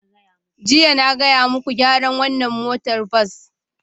Jiya, na gaya muku, gyara wannan motar bas!